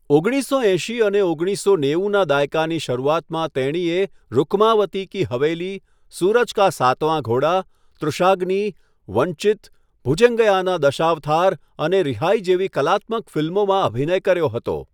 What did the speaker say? ઓગણીસસો એંશી અને ઓગણીસો નેવુંના દાયકાની શરૂઆતમાં તેણીએ 'રૂકમાવતી કી હવેલી', 'સૂરજ કા સાતવાં ઘોડા', 'તૃષાગ્નિ', 'વંચિત', 'ભુજંગયાના દશાવથાર' અને 'રીહાઈ' જેવી કલાત્મક ફિલ્મોમાં અભિનય કર્યો હતો.